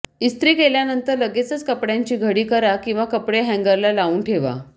इस्त्री केल्यानंतर लगेचच कपड्यांची घडी करा किंवा कपडे हँगरला लावून ठेवा